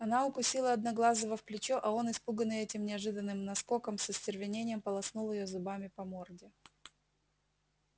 она укусила одноглазого в плечо а он испуганный этим неожиданным наскоком с остервенением полоснул её зубами по морде